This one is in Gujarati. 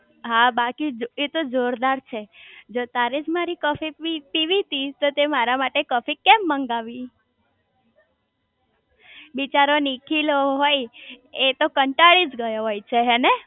હા બાકી જોર એતો જોરદાર છે જો તારેજ મારી કોફી પીવી તી તો તે મારા માટે કોફી કેમ મંગાવી બિચારો નીકીલો હોય એતો કંટાળી ગયો હોય છે હેને